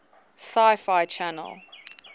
sci fi channel